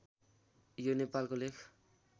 यो नेपालको लेख